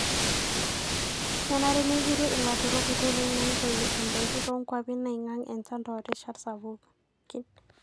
kenare nejuruu ilaturok nkoitoi naitoyiu indaikii too nkwapi naingaing enchan toorishat sapukin